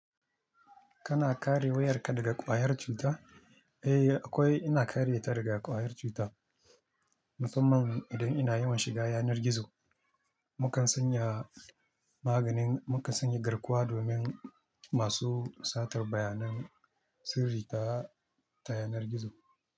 Kana kare wayarka daga ƙwayar cuta? Eh, akwai ina kare ta daga ƙwayar cuta. Musamman idan ina yawan shiga yanar gizo, mukan sanya maganin mukan sanya garkuwa domin masu satar bayanan sirri ta, ta yanar gizo.